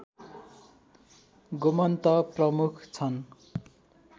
गोमन्त प्रमुख छन्